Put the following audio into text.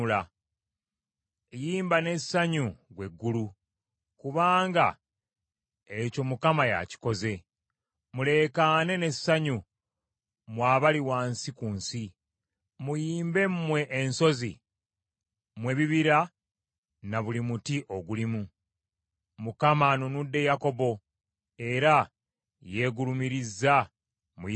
Yimba n’essanyu ggwe eggulu kubanga ekyo Mukama yakikoze. Muleekaane n’essanyu mmwe abali wansi ku nsi. Muyimbe mmwe ensozi, mmwe ebibira na buli muti ogulimu. Mukama anunudde Yakobo era yeegulumiriza mu Isirayiri.